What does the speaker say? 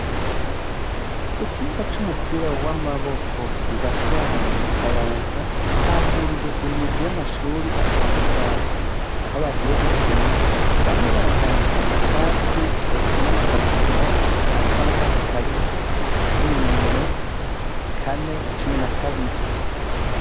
Kukibuga cumupira wamaboko I Gatwaro mukayanza hahuriye imigwi yamashuri atandukanye. Aho bagiye gukina bamwe bambaye amashati eka n'amakabutura asa nakatsi kabisi harimwo inimero kane na cumi na kabiri.